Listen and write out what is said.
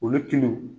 Olu tun